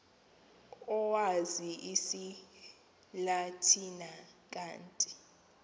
owazi isilatina kanti